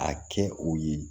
A kɛ u ye